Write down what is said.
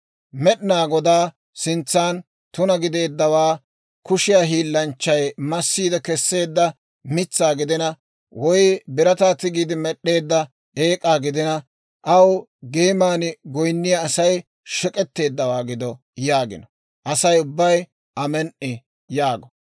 « ‹Med'inaa Godaa sintsan tuna gideeddawaa, kushiyaa hiillanchchay massiide Kesseedda mitsaa gidina, woy birataa tigiide med'd'eedda eek'aa gidina, aw geeman goyinniyaa Asay shek'etteeddawaa gido› yaagina, Asay ubbay, ‹Amen"i!› yaago.